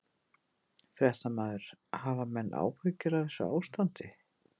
Fréttamaður: Hafa menn áhyggjur af þessu ástandi?